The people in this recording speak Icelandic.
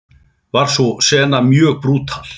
Var sú sena mjög brútal.